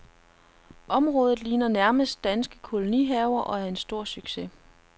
Området ligner nærmest danske kolonihaver og er en stor succes.